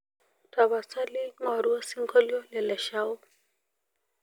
tapasali ngoru osingolio le leshao